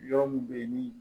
Yɔrɔ mun be yen ni